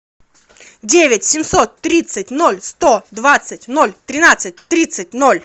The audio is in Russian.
девять семьсот тридцать ноль сто двадцать ноль тринадцать тридцать ноль